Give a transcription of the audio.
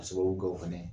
Ka sababu kɛ o fɛnɛ ye